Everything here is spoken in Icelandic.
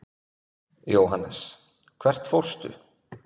Jóhannes: Hvert fórstu?